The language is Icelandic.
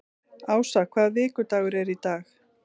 Ása, hvaða vikudagur er í dag?